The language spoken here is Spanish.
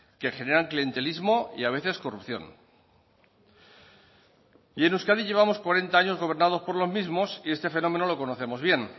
que generan clientelismo y a veces corrupción y en euskadi llevamos cuarenta años gobernados por los mismos y este fenómeno lo conocemos bien